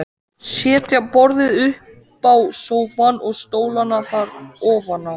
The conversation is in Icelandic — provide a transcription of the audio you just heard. Setja borðið uppá sófann og stólana þar ofaná.